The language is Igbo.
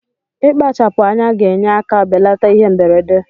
Ikpachapu anya ga enye aka belata ihe mberede.